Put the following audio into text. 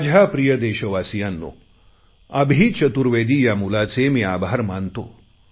माझ्या प्रिय देशवासियांनो अभि चतुर्वेदी या मुलाचे मी आभार मानतो